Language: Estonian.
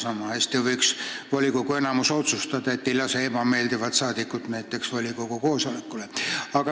Sama hästi võiks volikogu enamus näiteks otsustada, et ei lase ebameeldivat liiget volikogu koosolekule.